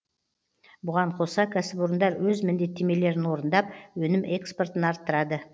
бұған қоса кәсіпорындар өз міндеттемелерін орындап өнім экспортын арттырады